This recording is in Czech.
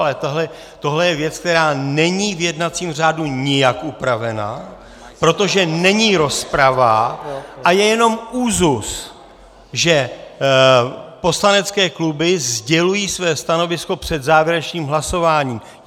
Ale tohle je věc, která není v jednacím řádu nijak upravena, protože není rozprava a je jenom úzus, že poslanecké kluby sdělují své stanovisko před závěrečným hlasováním.